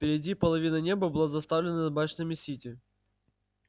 впереди половина неба была заставлена башнями сити